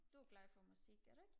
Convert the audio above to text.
du er glad for musik er du ikke